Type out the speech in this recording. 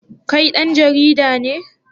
Kai dan jarida ne?